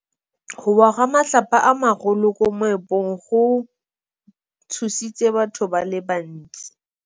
Go wa ga matlapa a magolo ko moepong go tshositse batho ba le bantsi.